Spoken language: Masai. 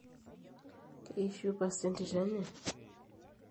keishiu pasa entito enye?